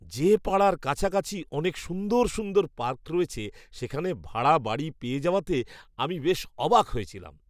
যে পাড়ার কাছাকাছি অনেক সুন্দর সুন্দর পার্ক রয়েছে সেখানে ভাড়া বাড়ি পেয়ে যাওয়াতে আমি বেশ অবাক হয়েছিলাম!